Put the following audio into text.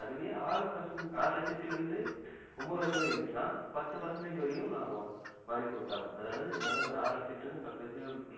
அதுவே ஆறு percent ஆறு லட்சத்தில இருந்து ஒன்பது லட்சம் வரையும் இருந்துச்சினா பத்து percentage வரையும் நான் வரி குடுத்தாவணும் அதாவது என்னால ஆறு லட்சத்தில இருந்து பத்து